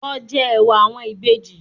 Lọ jẹ ẹ̀wà àwọn Ìbejì